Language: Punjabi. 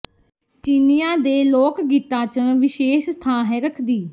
ਚੀਨੀਆਂ ਦੇ ਲੋਕ ਗੀਤਾਂ ਚਂ ਵਿਸ਼ੇਸ਼ ਥਾਂ ਹੈ ਰੱਖਦੀ